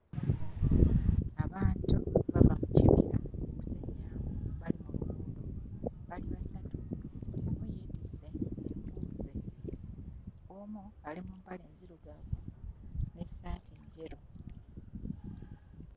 Bantu bava mu kibira kusennya nku bali mu luguudo bali basatu buli omu yeetisse enku ze omu ali mu mpale nzirugavu n'essaati njeru.